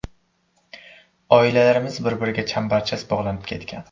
Oilalarimiz bir-biriga chambarchas bog‘lanib ketgan.